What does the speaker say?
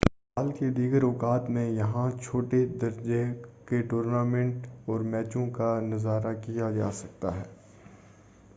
سال کے دیگر اوقات میں یہاں چھوٹے درجہ کے ٹورنامنٹ اور میچوں کا بھی نظارہ کیا جاسکتا ہے